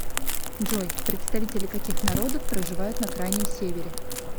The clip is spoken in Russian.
джой представители каких народов проживают на крайнем севере